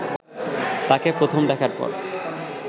তাঁকে প্রথম দেখার পর